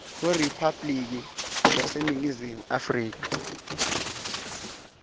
weriphabliki yaseningizimu afrika